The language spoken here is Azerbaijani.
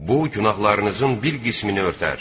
Bu günahlarınızın bir qismini örtər.